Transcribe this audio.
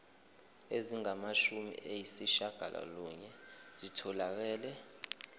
ezingamashumi ayishiyagalolunye zitholakele